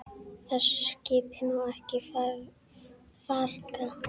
Þessu skipi má ekki farga.